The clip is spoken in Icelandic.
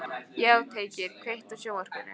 Játgeir, kveiktu á sjónvarpinu.